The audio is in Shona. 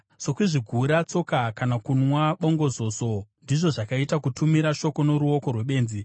Sokuzvigura tsoka kana kunwa bongozozo, ndizvo zvakaita kutumira shoko noruoko rwebenzi.